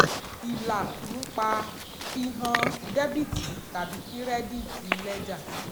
ìlà "nípa" fi hàn dẹ́bìtì tàbí kírẹ́díìtì lẹ́jà.